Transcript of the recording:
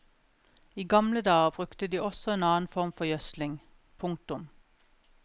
I gamle dager brukte de også en annen form for gjødsling. punktum